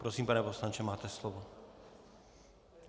Prosím, pane poslanče, máte slovo.